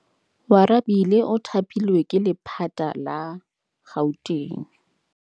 Oarabile o thapilwe ke lephata la Gauteng.